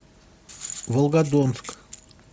волгодонск